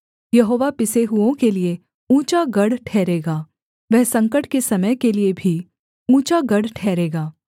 यहोवा पिसे हुओं के लिये ऊँचा गढ़ ठहरेगा वह संकट के समय के लिये भी ऊँचा गढ़ ठहरेगा